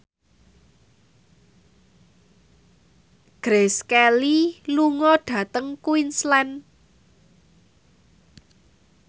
Grace Kelly lunga dhateng Queensland